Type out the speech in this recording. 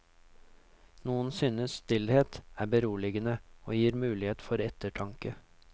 Noen synes stillhet er beroligende og gir mulighet for ettertanke.